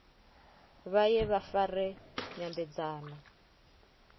vha ye vha fare nyambedzano